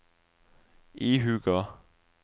ihuga